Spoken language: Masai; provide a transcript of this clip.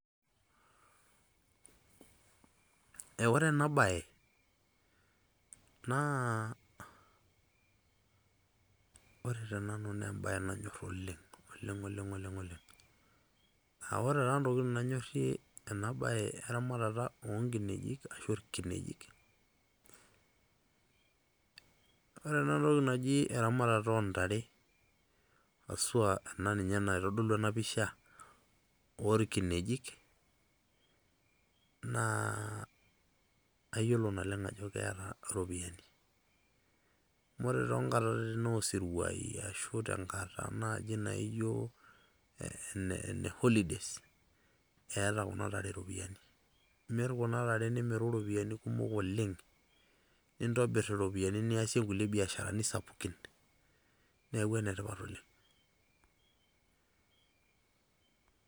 Eh ore enabae, naa ore tenanu nebae nanyor oleng',oleng'oleng. Ah ore taa ntokiting nanyorrie enabae eramatata onkinejik ashu irkinejik, ore enatoki naji eramatata ontare, asua ena ninye naitodolu enapisha, orkinejik, naa ayiolo naleng' ajo keeta iropiyiani. Ore tonkatitin osiruai, ashu tenkata naji naijo ene holidays, eeta kuna tare ropiyaiani. Imir kuna tare nimiru ropiyaiani kumok oleng',nintobir iropiyiani niasie kule biasharani sapukin. Neeku enetipat oleng'.